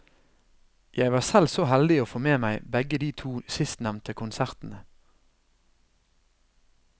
Jeg var selv så heldig å få med meg begge de to sistnevnte konsertene.